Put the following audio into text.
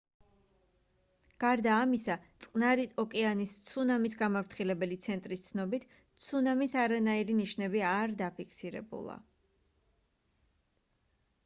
გარდა ამისა წყნარი ოკეანის ცუნამის გამაფრთხილებელი ცენტრის ცნობით ცუნამის არანაირი ნიშნები არ დაფიქსირებულა